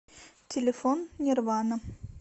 телефон нирвана